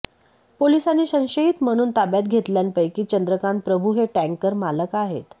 पोलिसांनी संशयित म्हणून ताब्यात घेतलेल्यापैकी चंद्रकांत प्रभू हे टँकर मालक आहेत